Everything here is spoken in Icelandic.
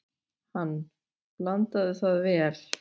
Hann: Blandaðu það vel.